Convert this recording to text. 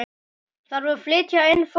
Þarf að flytja inn fóður?